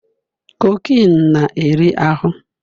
Cocaine na-eri ahụ